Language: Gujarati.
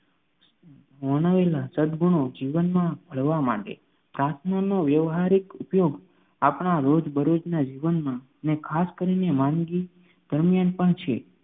વર્ણવેલા સદગુણો જીવનમાં મળવા માંડે. પ્રાર્થનાનો વ્યવહારિક ઉપયોગ આપણા રોજબરોજના જીવનમાં ને ખાસ કરીને માંદગી દરમિયાન પણ છે